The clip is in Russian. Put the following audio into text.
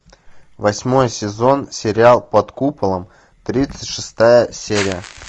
восьмой сезон сериал под куполом тридцать шестая серия